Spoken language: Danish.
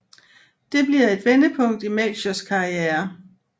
Det bliver et vendepunkt i Melchiors karriere